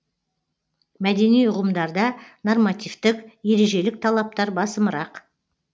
мәдени үғымдарда нормативтік ережелік талаптар басымырақ